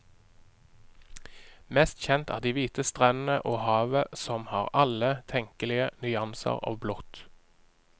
Mest kjent er de hvite strendene og havet som har alle tenkelige nyanser av blått.